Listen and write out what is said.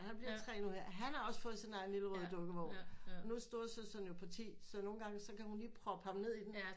Han bliver tre nu her han har også fået sin egen røde lille dukkevogn nu er storesøsteren jo på ti så nogle gange så kan hun lige proppe ham ned i den